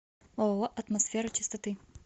ооо атмосфера чистоты